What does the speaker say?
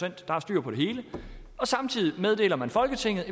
at der er styr på det hele og samtidig meddeler man folketinget at